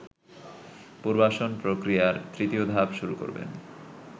পুনর্বাসন প্রক্রিয়ার তৃতীয় ধাপ শুরু করবেন